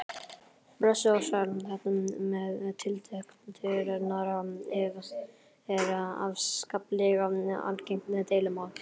Blessuð og sæl, þetta með tiltektirnar er afskaplega algengt deilumál.